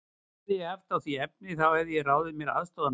Hefði ég haft á því efni, þá hefði ég ráðið mér aðstoðarmann.